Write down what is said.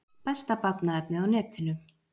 Besta barnaefnið á netinu